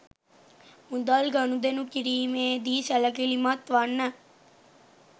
මුදල් ගනුදෙනු කිරීමේ දී සැලකිලිමත් වන්න